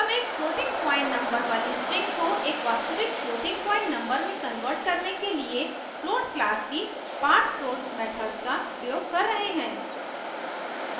हम एक floating point number वाली string को एक वास्तविक floating point number में convert करने के लिए float class की parsefloat मेथड्स का प्रयोग कर रहे हैं